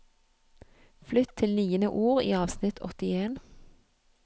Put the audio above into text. Flytt til niende ord i avsnitt åttien